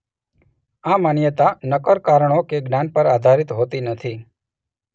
આ માન્યતા નક્કર કારણો કે જ્ઞાન પર આધારિત હોતી નથી